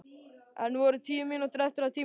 Enn voru tíu mínútur eftir af tímanum.